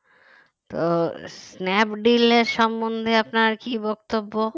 তো স্ন্যাপডিলের সম্বন্ধে আপনার কি বক্তব্য